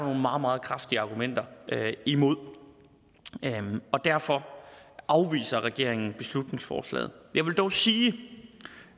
meget meget kraftige argumenter imod det og derfor afviser regeringen beslutningsforslaget jeg vil dog sige